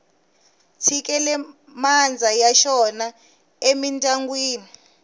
tshikele mandza ya xona emindyangwini